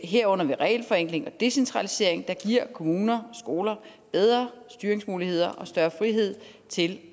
herunder ved regelforenkling og decentralisering der giver kommuner og skoler bedre styringsmuligheder og større frihed til